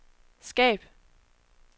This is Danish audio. skab